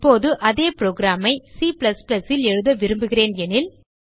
இப்போது அதே புரோகிராம் ஐ C ல் எழுத விரும்புகிறேன் எனில்